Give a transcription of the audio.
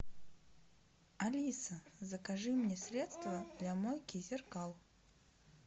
алиса закажи мне средство для мойки зеркал